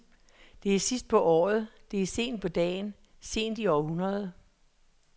Det er sidst på året, det er sent på dagen, sent i århundredet.